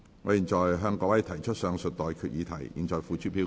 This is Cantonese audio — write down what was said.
我現在向各位提出上述待決議題，付諸表決。